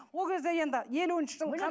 ол кезде енді елуінші жылы